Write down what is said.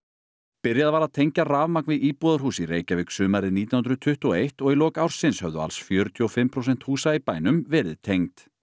byrjað var að tengja rafmagn við íbúðarhús í Reykjavík sumarið nítján hundruð tuttugu og eitt og í lok ársins höfðu alls fjörutíu og fimm prósent húsa í bænum verið tengd